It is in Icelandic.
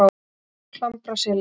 Klambraseli